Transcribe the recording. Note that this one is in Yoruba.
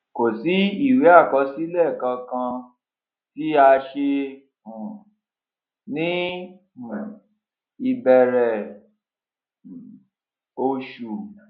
kò sì ìwé àkọsílẹ kankan tí a ṣe um ní um ìbẹrẹ um oṣù